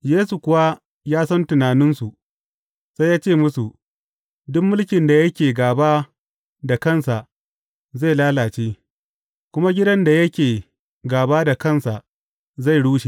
Yesu kuwa ya san tunaninsu, sai ya ce musu, Duk mulkin da yake gāba da kansa, zai lalace, kuma gidan da yake gaba da kansa zai rushe.